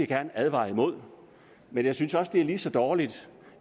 gerne advare imod men jeg synes også det er lige så dårligt